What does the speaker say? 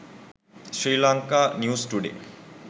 sri lanka news today